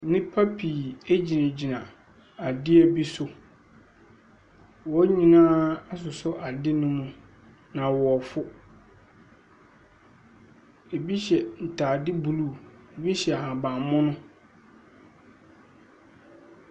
Nipa pii gyinagyina adeɛ bi so. Wɔn nyinaa asosɔ adeɛ no mu, na wɔreforo. Ɛbi hyɛ ntade blue, bi hyɛ ahabammono.